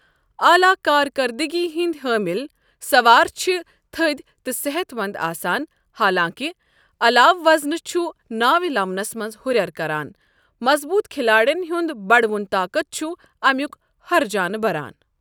اعلیٰ کارکردٕگی ہِنٛدۍ حٲمل سوار چھ تھٔدۍ تہٕ صحت مند آسان حالانٛکہ عَلاوٕ وزن چھ ناوِ لمنس منٛز ہرٮ۪ر کران، مضبوٗط کھلاڑین ہنٛد بڑوُن طاقت چھ امیک ہرجانہٕ بران۔